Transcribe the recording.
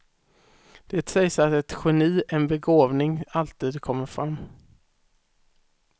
Det sägs att ett geni, en begåvning alltid kommer fram.